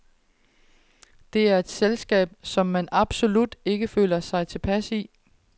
Det er et selskab, som han absolut ikke føler sig tilpas i.